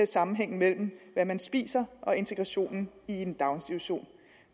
sammenhængen mellem hvad man spiser og integrationen i en daginstitution